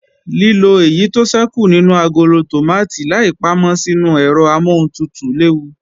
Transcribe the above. Lílo èyí tó ṣẹ́kù nínú agolo tòmátì láì pámọ́ sínu ẹ̀rọ amọ́huntutù léwu